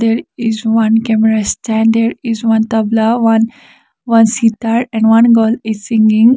there is one camera stand there is one tabla one one sitar and one girl is singing.